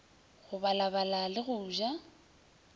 go balabala le go ja